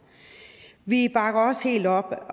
vi bakker også helt op